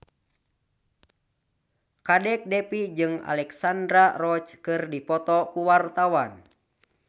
Kadek Devi jeung Alexandra Roach keur dipoto ku wartawan